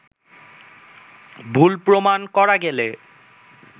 ভুল প্রমাণ করা গেলে